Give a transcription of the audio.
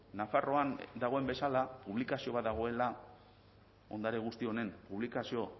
nafarroan dagoen bezala publikazio bat dagoela ondare guzti honen publikazio